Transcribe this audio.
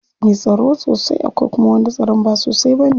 Akwai mai tsaro sosai akwai kuma wanda tsaron ba sosai bane.